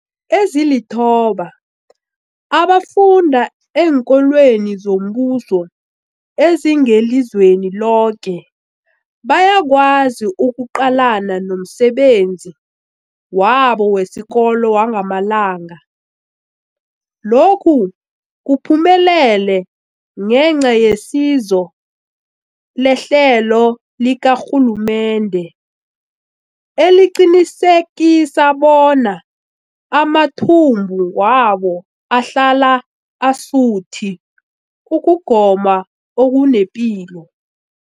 Ezilithoba abafunda eenkolweni zombuso ezingelizweni loke bayakwazi ukuqalana nomsebenzi wabo wesikolo wangamalanga. Lokhu kuphumelele ngenca yesizo lehlelo likarhulumende eliqinisekisa bona amathumbu wabo ahlala asuthi ukugoma okunepilo.